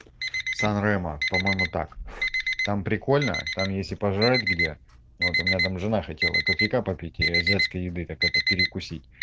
санремо по-моему так там прикольно там есть и пожрать где вот у меня там жена хотела кофейка попить и азиатской еды так это перекусить